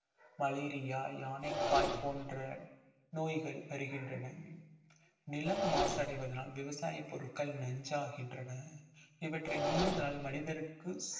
malaria யானைக்கால் போன்ற நோய்கள் வருகின்றன நிலம் மாசடைவதனால் விவசாய பொருட்கள் நஞ்சாகின்றன இவற்றை உண்பதனால் மனிதருக்கு